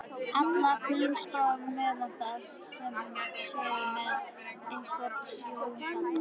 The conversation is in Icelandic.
allra grunnskólanemenda séu með einhvern sjóngalla.